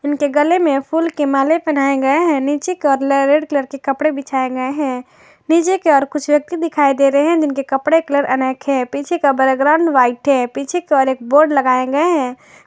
इनके गले में फूल के माले पहनाए गए हैं नीचे की ओर रेड कलर के कपड़े बिछाए गए हैं नीचे की तरफ कुछ व्यक्ति दिखाई दे रहे हैं जिनके कपड़े के कलर अनेक हैं पीछे का बैकग्राउंड व्हाइट है पीछे की ओर एक बोर्ड लगाए गए हैं।